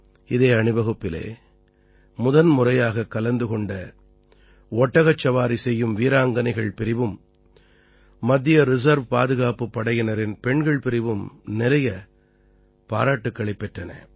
இதே அணிவகுப்பில் முதன்முறையாகக் கலந்து கொண்ட ஒட்டகச்சவாரி செய்யும் வீராங்கனைகள் பிரிவும் மத்திய ரிசர்வ் பாதுகாப்பு படையினரின் பெண்கள் பிரிவும் நிறைய பாராட்டுக்களைப் பெற்றன